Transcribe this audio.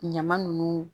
Ɲama nunnu